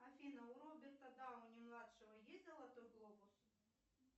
афина у роберта дауни младшего есть золотой глобус